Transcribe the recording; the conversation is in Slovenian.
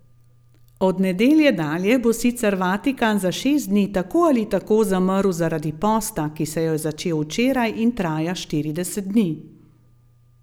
Od nedelje dalje bo sicer Vatikan za šest dni tako ali tako zamrl zaradi posta, ki se je začel včeraj in traja štirideset dni.